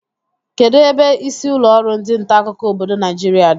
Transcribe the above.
Kedụ ebe isi ụlọrụ ndị ntaakụkọ obodo Naijiria dị?